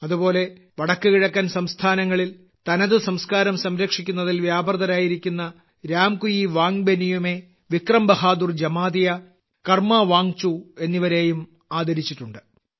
അതുപോലെ വടക്ക്കിഴക്കൻ സംസ്ഥാനങ്ങളിൽ തനതു സംസ്കാരം സംരക്ഷിക്കുന്നതിൽ വ്യാപൃതരായിരിക്കുന്ന രാംകുയിവാങ്ബെനിയുമെ വിക്രം ബഹാദൂർ ജമാതിയ കർമ്മാവാങ്ചു എന്നിവരെയും ആദരിച്ചിട്ടുണ്ട്